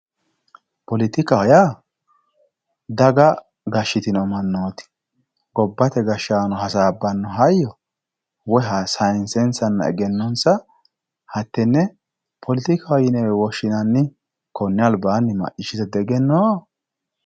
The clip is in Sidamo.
poletikaho yaa daga gashshitino mannooti gobbate gashshaano hasaabbanno hayyo woyi sayiinsensanna egennonsa hattenne poletikaho yinewe woshshinanni konne albaanni macciishshite diegenoo?